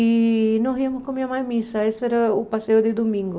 E nós íamos com a minha mãe à missa, esse era o passeio de domingo.